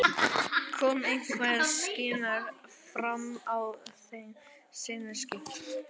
Kom einhver skýring fram á þeim sinnaskiptum?